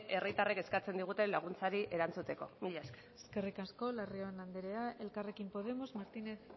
herritarren eskatzen diguten laguntzari erantzuteko mila esker eskerrik asko larrion anderea elkarrekin podemos martínez